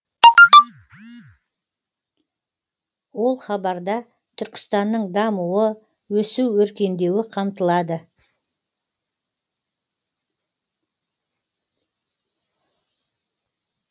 ол хабарда түркістанның дамуы өсу өркендеуі қамтылады